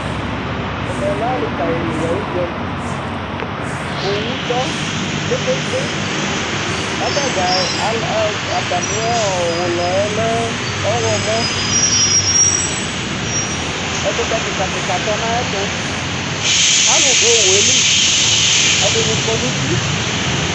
Ɛmɛ lɛ ali ka li ayu udza li, owu tɔ kpekpekpe ku ata dza ati mí ulɔ yɛ lɛ ɔwlɔmɔ, ɛkutɛ kika kika tɔ nu ayɛ tu, alu du owu yɛ li, ɛdini kɔ nu uti